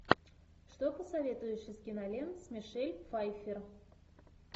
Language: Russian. что посоветуешь из кинолент с мишель пфайффер